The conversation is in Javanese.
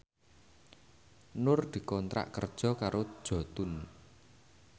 Nur dikontrak kerja karo Jotun